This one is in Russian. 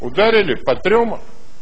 ударили по трём